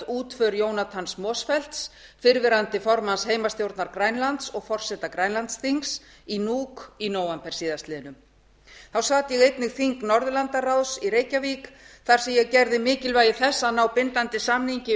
útför jonathans motzfeldt fyrrverandi formanns heimastjórnar grænlands og forseta grænlandsþings í nuuk í nóvember síðastliðinn þá sat ég einnig þing norðurlandaráðs í reykjavík þar sem á gerði mikilvægi þess að ná bindandi samningi